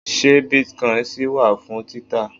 ṣe bitcoin ṣì wà fún títà